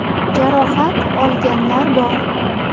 Jarohat olganlar bor.